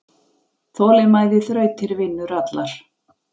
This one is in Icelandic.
Þolinmæði þrautir vinnur allar.